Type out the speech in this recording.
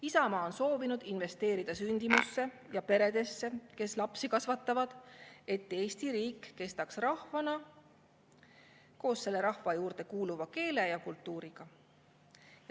Isamaa on soovinud investeerida sündimusse ja peredesse, kes lapsi kasvatavad, et Eesti riik kestaks rahvana koos selle rahva juurde kuuluva keele ja kultuuriga.